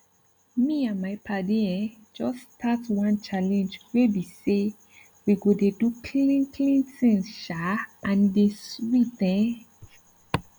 me and my padi eh just start one challenge wey bi say we go dey do clean clean things um and e dey sweet ehn